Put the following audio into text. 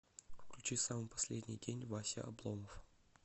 включи самый последний день вася обломов